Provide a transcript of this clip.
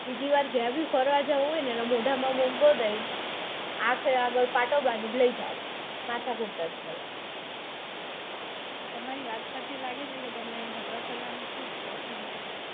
બીજી વાર જ્યાં પણ ફરવા જાઉં હોય ને એના મોઢામાં બાંધીને આગળ આંખે પાટો બાંધીને લઇ જાવી છે. માથાકૂટ જ નઈ. તમારી વાત પરથી લાગે છે કે તમે હરવા ફરવાના ખુબ શોખીન છો.